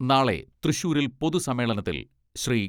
നാളെ തൃശൂരിൽ പൊതു സമ്മേളനത്തിൽ ശ്രീ.